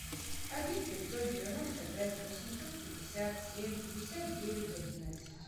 один пятьсот девяносто пять восемьсот пятьдесят семь пятьдесят девять одиннадцать